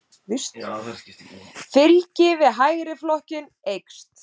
Fylgi við Hægriflokkinn eykst